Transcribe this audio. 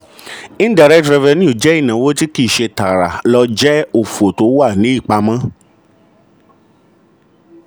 indirect revenue ju ìnáwó kìí ṣe tààrà lọ jẹ́ òfò tó wà ní ìpamọ́.